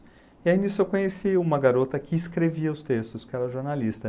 E aí nisso eu conheci uma garota que escrevia os textos, que era jornalista.